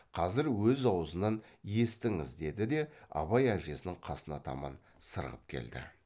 қазір өз аузынан естіңіз деді де абай әжесінің қасына таман сырғып келді